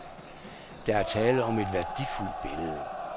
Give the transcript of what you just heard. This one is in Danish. Der er tale om et værdifuldt billede.